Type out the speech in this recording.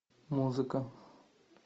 музыка